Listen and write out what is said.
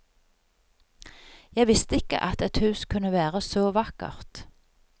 Jeg visste ikke at et hus kunne være så vakkert.